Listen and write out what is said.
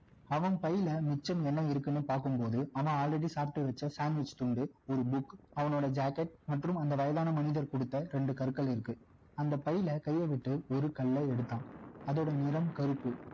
அவன் பையில மிச்சம் என்ன இருக்குன்னு பார்க்கும்போது அவன் already சாப்பிட்டு வச்ச sandwich துண்டு ஒரு book அவனோட jacket மற்றும் அந்த வயதான மனிதர் கொடுத்த ரெண்டு கற்கள் இருக்கு அந்த பையில கைய விட்டு ஒரு கல்ல எடுத்தான் அதோட நிறம் கருப்பு